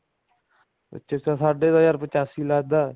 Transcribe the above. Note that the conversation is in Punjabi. ਅੱਛਾ ਸਾਡੇ ਤਾਂ ਯਾਰ ਪਚਾਸੀ ਲੱਗਦਾ